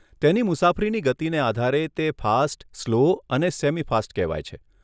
તેની મુસાફરીની ગતિને આધારે તે ફાસ્ટ, સ્લો અને સેમી ફાસ્ટ કહેવાય છે.